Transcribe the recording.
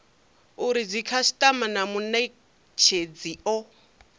uri dzikhasitama na munetshedzi o